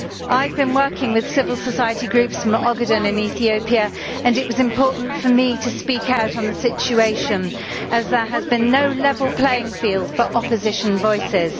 I have been working with civil society groups from Ogaden in Ethiopia, and it was important for me to speak out on the situation as there has been no level playing field for opposition voices.